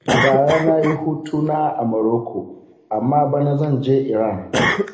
A bara na yi hutu na a Morocco, amma bana zan je Iran.